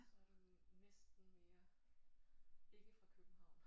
Så er du jo næsten mere ikke fra København